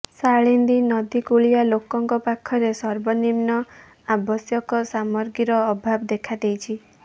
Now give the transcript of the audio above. ସାଳିନ୍ଦୀ ନଦୀ କୁଳିଆ ଲୋକଙ୍କ ପାଖରେ ସର୍ବନିମ୍ନ ଆବଶ୍ୟକ ସାମଗ୍ରୀର ଅଭାବ ଦେଖାଦେଇଛି